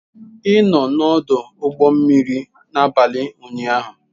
Ị nọ n'ọdụ ụgbọ mmiri n'abalị ụnyaahụ.